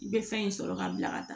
I bɛ fɛn in sɔrɔ ka bila ka taa